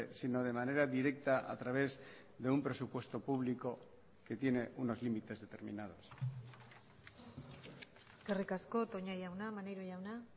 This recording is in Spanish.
sino de manera directa a través de un presupuesto público que tiene unos límites determinados eskerrik asko toña jauna maneiro jauna